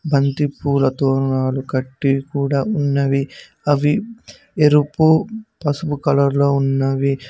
బంతిపూల తోను కట్టి కూడా ఉన్నవి అవి ఎరుపు పసుపు కలర్ లో ఉన్నవి.